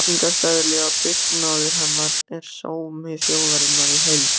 Víkingseðli og dugnaður hennar er sómi þjóðarinnar í heild.